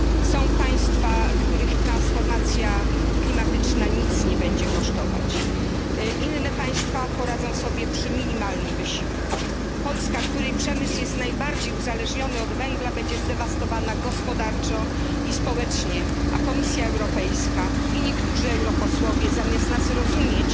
Są państwa, których transformacja klimatyczna nic nie będzie kosztować, inne państwa poradzą sobie przy minimalnym wysiłku. Polska, której przemysł jest najbardziej uzależniony od węgla, będzie zdewastowana gospodarczo i społecznie, a Komisja Europejska i niektórzy europosłowie zamiast nas zrozumieć,